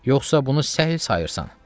Yoxsa bunu səhl sayırsan?